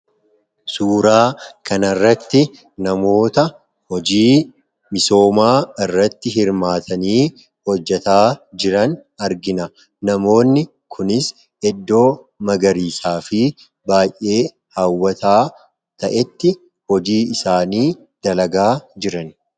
Suuraa kana irratti namoota hojii misoomaa irratti hirmaatanii hojjechaa jiran arginaa. Namoonni kunis iddoo magariisaa baay'ee hawwataa ta'etti hojii isaanii dalagaa jirani.